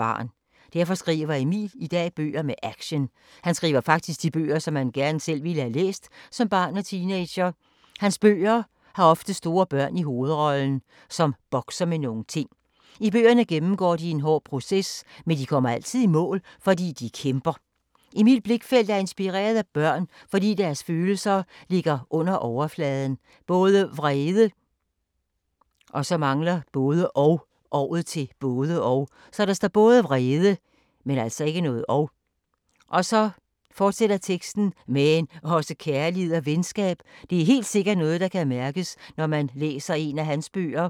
Derfor skriver Emil i dag bøger med action. Han skriver faktisk de bøger, som han selv gerne ville have læst som barn og teenager. Hans bøger har ofte store børn i hovedrollen, som bokser med nogle ting. I bøgerne gennemgår de en hård proces, men de kommer altid i mål, fordi de kæmper. Emil Blichfeldt er inspireret af børn, fordi deres følelser ligger lige under underfladen. Både vrede, men også kærlighed og venskab. Og det er helt sikkert noget, der kan mærkes, når man læser en af hans bøger.